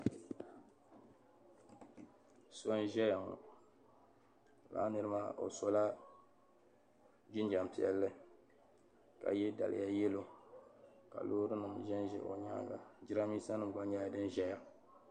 So n-ʒeya ŋɔ lala niri maa o sola jinjam piɛlli ka ye daliya "yellow" ka loorinima ʒen ʒe o nyaaŋa jiramiinsanima gba nyɛla din ʒeya.